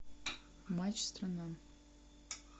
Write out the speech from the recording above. матч страна